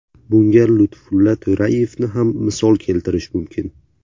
Bunga Lutfulla To‘rayevni ham misol keltirish mumkin.